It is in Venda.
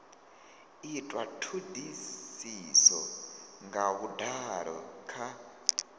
itwa thodisiso nga vhudalo kha